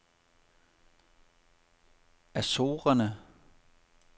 Azorerne